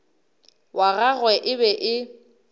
wa gagwe e be e